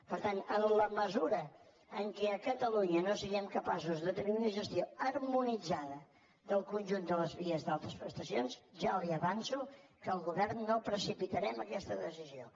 per tant en la mesura en què a catalunya no siguem capaços de tenir una gestió harmonitzada del conjunt de les vies d’altes prestacions ja li avanço que al govern no precipitarem aquesta decisió